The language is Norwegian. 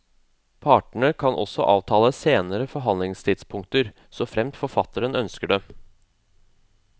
Partene kan også avtale senere forfallstidspunkter, såfremt forfatteren ønsker det.